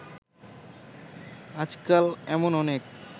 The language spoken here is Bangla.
আজকাল এমন অনেক